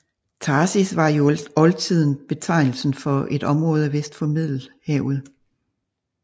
Tarsis var i oldtiden betegnelsen for et område vest for Middelhavet